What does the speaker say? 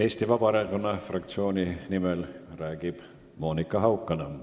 Eesti Vabaerakonna fraktsiooni nimel räägib Monika Haukanõmm.